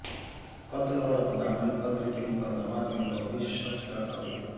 قتل اور اقدام قتل کے مقدمات میں ملوث شخص کا قتل